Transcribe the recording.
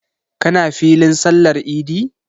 Ka na filin sallar idi?